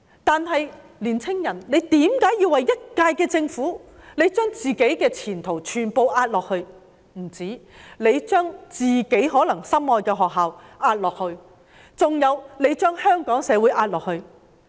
但是，青年人為何要為了一屆政府，而將自己的前途全部押下去，更將自己心愛的學校押下去，還有將香港社會押下去？